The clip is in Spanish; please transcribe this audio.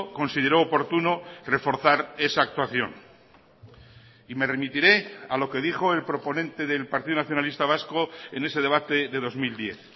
consideró oportuno reforzar esa actuación y me remitiré a lo que dijo el proponente del partido nacionalista vasco en ese debate de dos mil diez